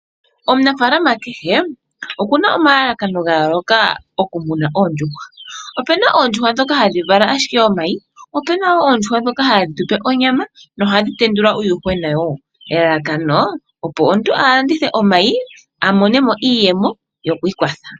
Omunafaalama kehe oku na omalalakano ga yooloka okumuna oondjuhwa. Opu na oondjuhwa ndhoka hadhi vala omayi, opu na wo oondjuhwa ndhoka hadhi tu pe onyama nohadhi tendula uuyuhwena wo, elalakano omuntu a landithe omayi a mone mo iiyemo yoku ikwatha.